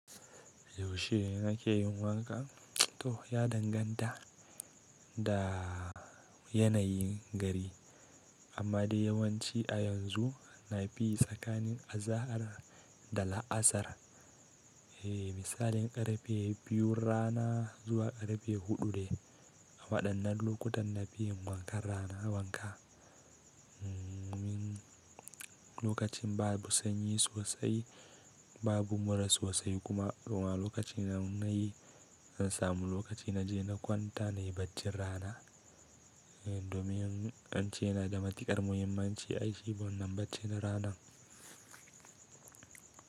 Yaushe ake yin wanka? To ya danganta da yanayin gari, amma dai yawanci a yanzu na fi yi tsakanin azahar da la'asar. Eh, misalin ƙarfe biyun rana zuwa ƙarfe huɗu dai. A waɗannan lokutan na fi yi wankan rana wanka. Lokacin babu sanyi sosai, babu mura sosai kuma. Wani lokaci na yi, in samu lokaci na je na kwanta na yi bacci rana. Domin an ce yana da matuƙar muhimmanci ai shi wannan barcin rana.